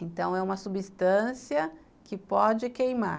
Então é uma substância que pode queimar.